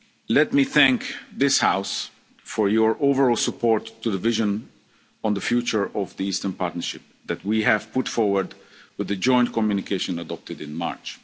neighbourhood. Let me thank this House for your overall support for the vision on the future of the Eastern Partnership that we have put forward with the joint communication